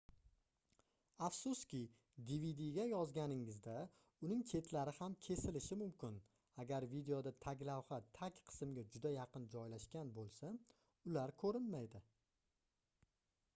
afsuski dvdga yozganingizda uning chetlari ham kesilishi mumkin agar videoda taglavha tag qismga juda yaqin joylashgan boʻlsa ular koʻrinmaydi